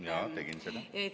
Jaa, tegin seda!